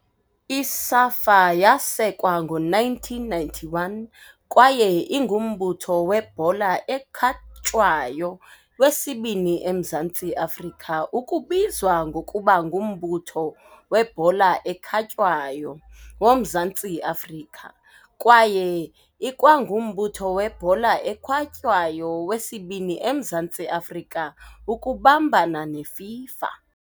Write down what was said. I-SAFA yasekwa ngo-1991 kwaye ingumbutho webhola ekhatywayo wesibini eMzantsi Afrika ukubizwa ngokuba nguMbutho "weBhola eKhatywayo woMzantsi Afrika" kwaye ikwangumbutho webhola ekhatywayo wesibini eMzantsi Afrika ukubambana neFIFA.